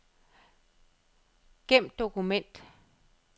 Gem dokument.